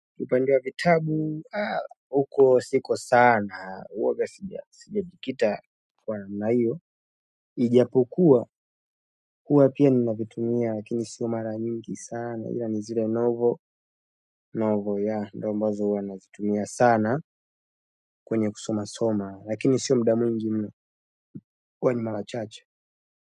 Upande wa vitabu, haa, huko siko sana, huwaga sija, sijajikita kwa na hiyo, ijapokuwa, huwa pia ninavitumia, lakini siyo mara mingi sana, ila nizile novo, novo ya, ndo ambazo huwa nazitumia sana, kwenye kusoma soma, lakini siyo mda mwngi mno, huwa ni mara chache.